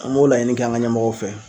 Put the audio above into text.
An m'o laɲini k'an ga ɲɛmɔgɔw fɛ